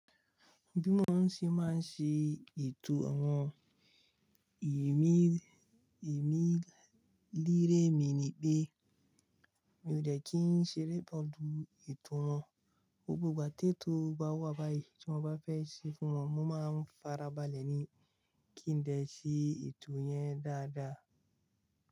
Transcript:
Bí wọ́n sì máa ń ṣe ètò àwọn ẹ̀mí, ẹ̀mí lérè mi ni pé mi ò dẹ̀ kí ń ṣeré balù ètò wọn. Gbogbo ìgbà tító o bá wà báyìí tí wọ́n bá fẹ́ ṣe fún wọn, mo máa ń farabalẹ̀ ní kí n dẹ̀ ṣe ètò yẹn dáadáa.